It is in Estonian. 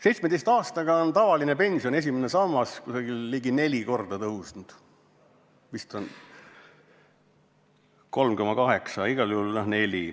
17 aastaga on tavaline pension, esimene sammas, kasvanud umbes neli korda, täpsemalt vist 3,8 korda.